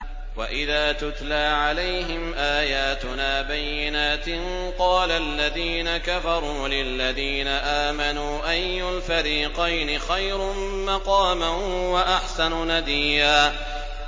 وَإِذَا تُتْلَىٰ عَلَيْهِمْ آيَاتُنَا بَيِّنَاتٍ قَالَ الَّذِينَ كَفَرُوا لِلَّذِينَ آمَنُوا أَيُّ الْفَرِيقَيْنِ خَيْرٌ مَّقَامًا وَأَحْسَنُ نَدِيًّا